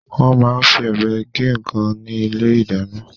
Wọ́n máa ń fi ọ̀bẹ gé nǹkan ní ilé-ìdáná.